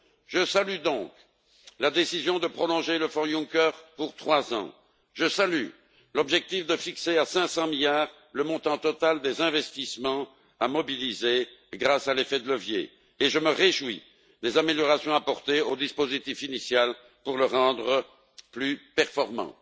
Je salue donc la décision de prolonger le Fonds Juncker pour trois ans, je salue l'objectif de fixer à 500 milliards le montant total des investissements à mobiliser, grâce à l'effet de levier, et je me réjouis des améliorations apportées au dispositif initial pour le rendre plus performant.